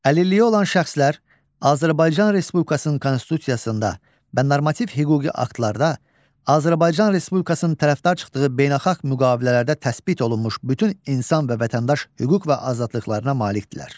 Əlilliyi olan şəxslər Azərbaycan Respublikasının Konstitusiyasında və normativ hüquqi aktlarda, Azərbaycan Respublikasının tərəfdar çıxdığı beynəlxalq müqavilələrdə təsdiq olunmuş bütün insan və vətəndaş hüquq və azadlıqlarına malikdirlər.